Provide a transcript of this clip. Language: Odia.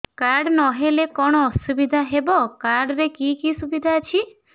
କାର୍ଡ ନହେଲେ କଣ ଅସୁବିଧା ହେବ କାର୍ଡ ରେ କି କି ସୁବିଧା ଅଛି